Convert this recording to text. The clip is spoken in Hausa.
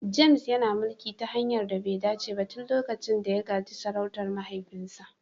James yana mulki ta hanyar da be dace ba tun lokacin da ya gaji sarautar mahaifinsa.